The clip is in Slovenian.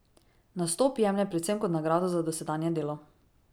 Nastop jemlje predvsem kot nagrado za dosedanje delo.